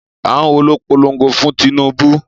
Àwọn wo ló polongo fún Tinubu?